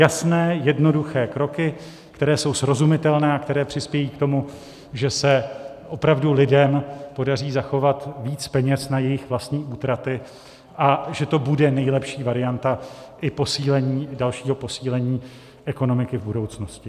Jasné, jednoduché kroky, které jsou srozumitelné a které přispějí k tomu, že se opravdu lidem podaří zachovat víc peněz na jejich vlastní útraty a že to bude nejlepší varianta i dalšího posílení ekonomiky v budoucnosti.